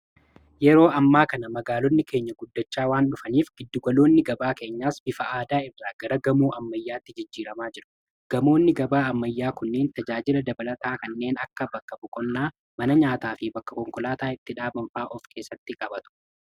Yeroo ammaa kana magaalonni keenya guddachaa waan dhufaniif giddugaloonni gabaa keenyaas bifa aadaa irraa gara gamoo ammayyaatti jijjiiramaa jiru. Gamoonni gabaa ammayyaa kunneen tajaajila dabalataa kanneen akka bakka boqonnaa mana nyaataa fi bakka konkolaataa itti dhaaban fa'a of keessatti qabatu.